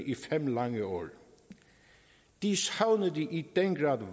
i fem lange år de savnede i den grad